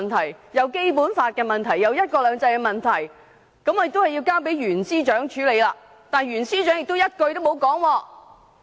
他又說涉及《基本法》和"一國兩制"的問題要交由袁司長處理，但袁司長亦一句不提。